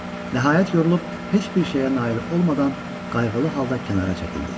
Nəhayət yorulub heç bir şeyə nail olmadan qayğılı halda kənara çəkildi.